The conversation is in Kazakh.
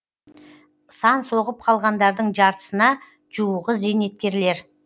сан соғып қалғандардың жартысына жуығы зейнеткерлер